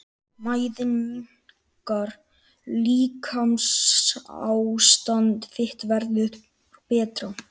Mæðin minnkar- líkamsástand þitt verður betra.